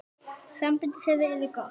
Samband þeirra yrði gott.